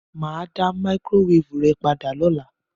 Mà á dá máíkrówévù rẹ padà lọ́la.